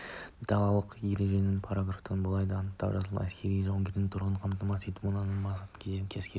далалық ереженің параграфында былай деп анық жазылған әскерлерді жауынгерлік тұрғыдан қамтамасыз ету мынандай мақсатты көздейді әскерді